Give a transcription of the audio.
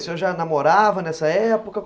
O senhor já namorava nessa época?